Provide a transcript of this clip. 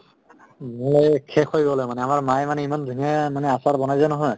মানে শেষ হৈ গʼলে মানে। আমাৰ মায়ে মানে ইমান ধুনীয়া মানে আচাৰ বনাইছে নহয়